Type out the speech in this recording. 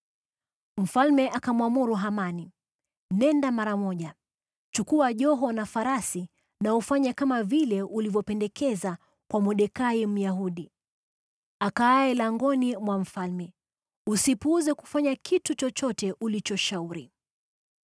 Mfalme akamwamuru Hamani, “Nenda mara moja, chukua joho na farasi na ufanye kama vile ulivyopendekeza kwa Mordekai Myahudi, akaaye langoni mwa mfalme. Usipuuze kufanya kitu chochote ulichoshauri.”